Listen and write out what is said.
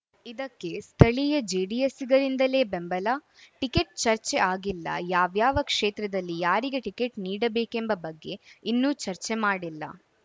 ಇದಕ್ಕೆ ಸ್ಥಳೀಯ ಜೆಡಿಎಸ್ಸಿಗರಿಂದಲೇ ಬೆಂಬಲ ಟಿಕೆಟ್‌ ಚರ್ಚೆ ಆಗಿಲ್ಲ ಯಾವ್ಯಾವ ಕ್ಷೇತ್ರದಲ್ಲಿ ಯಾರಿಗೆ ಟಿಕೆಟ್‌ ನೀಡಬೇಕೆಂಬ ಬಗ್ಗೆ ಇನ್ನೂ ಚರ್ಚೆ ಮಾಡಿಲ್ಲ